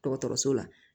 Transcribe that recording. Dɔgɔtɔrɔso la